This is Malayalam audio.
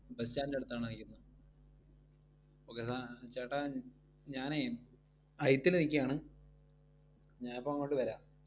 bus stand ൻറെ അടുത്തണോ നിക്കുന്നെ? okay ചേട്ടാ ഞാനേ അയത്തിൽ നിക്കയാണ്. ഞാൻ ഇപ്പൊ അങ്ങോട്ട് വരാം